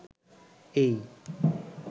এই